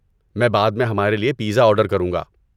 میں بعد میں ہمارے لیے پیزا آرڈر کروں گا۔